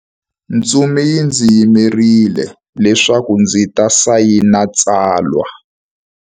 Ntsumi yi ndzi yimerile leswaku ndzi ta sayina tsalwa.